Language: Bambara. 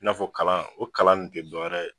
I n'a fɔ kalan o kalan nin te dɔwɛrɛ ye